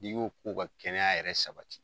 I ko ko ka kɛnɛya yɛrɛ sabati